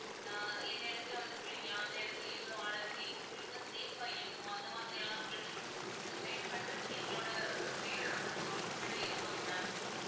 ஆஹ் எந்த இடத்துல வந்து குளிக்கலாம், எந்த இடத்துல எவ்ளோ ஆழம் இருக்கு, எங்க குளிச்சா safe ஆ இருக்கும். அந்த மாதிரி எல்லாம் உங்களுக்கு இது guide பண்றதுக்கு எங்களோட அஹ் guide வந்து உங்க கூடவே இருப்பாங்க ma'am